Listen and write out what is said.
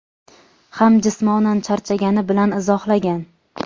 ham jismonan charchagani bilan izohlagan.